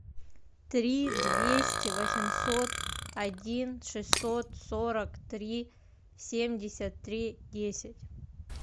три двести восемьсот один шестьсот сорок три семьдесят три десять